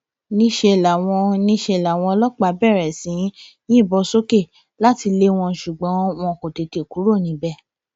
níṣẹ làwọn níṣẹ làwọn ọlọpàá bẹrẹ sí í yìnbọn sókè láti lé wọn lọ ṣùgbọn wọn kò tètè kúrò níbẹ